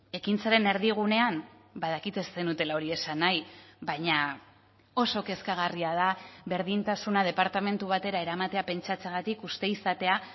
ekintzaren erdigunean badakit ez zenutela hori esan nahi baina oso kezkagarria da berdintasuna departamentu batera eramatea pentsatzeagatik uste izatea